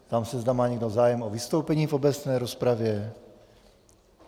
Ptám se, zda má někdo zájem o vystoupení v obecné rozpravě.